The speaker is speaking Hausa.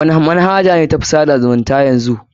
Wani manhaja ce ta fi na tsada zumunta yanzy?